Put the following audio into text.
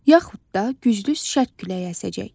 Yaxud da güclü şərq küləyi əsəcək.